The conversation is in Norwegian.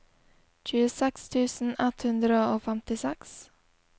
tjueseks tusen ett hundre og femtiseks